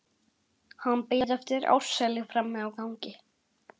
Hann beið eftir Ársæli frammi á gangi.